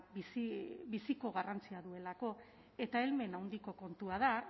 biziko garrantzia duelako eta helmen handiko kontua da